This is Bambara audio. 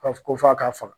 Ka fɔ ko f'a ka faga